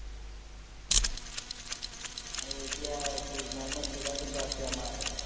আৰু এতিয়া কি মহম্মদ চিৰাজোতো আছে আমাৰ